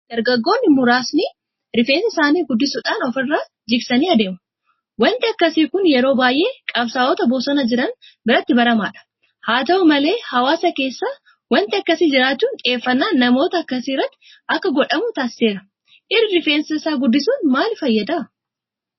Dargaggooni muraasni rifeensa isaanii guddisuudha ofirra jiksanii adeemu. Waanti akkasii kun yeroo baay'ee qabsaa'ota bosona jiran biratti baramaadha. Haata'u malee hawaasa keessas waanti akkasii jiraachuun xiyyeeffannaan namoota akkasii irratti akka godhamu taasiseera. Dhiirri Rifeensa guddisuun maaliif fayyada?